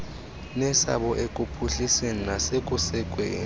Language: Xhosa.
nesabo ekuphuhlisweni nasekusekweni